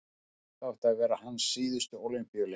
þetta áttu að vera hans síðustu ólympíuleikar